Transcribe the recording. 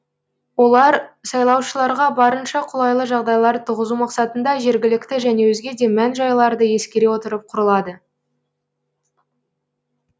олар сайлаушыларға барынша қолайлы жағдайлар туғызу мақсатында жергілікті және өзге де мән жайларды ескере отырып құрылады